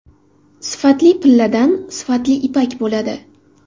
Sifatli pilladan sifatli ipak bo‘ladi.